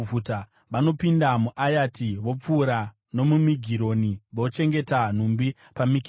Vanopinda muAyati; vopfuura nomuMigironi; vochengeta nhumbi paMikimashi.